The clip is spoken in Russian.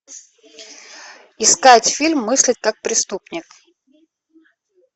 искать фильм мыслить как преступник